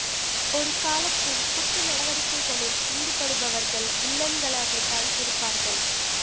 ஒரு காலத்தில் குற்ற நடவடிக்கைகளில் ஈடுபடுபவர்கள் வில்லன்களாகத் தான் இருப்பார்கள்